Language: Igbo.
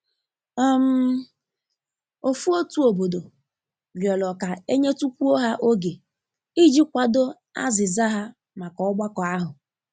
um Ofu otu obodo rịọrọ ka e nyetukwuo ha oge i ji kwado azịza ha maka ọgbakọ ahu.